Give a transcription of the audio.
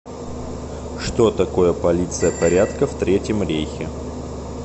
что такое полиция порядка в третьем рейхе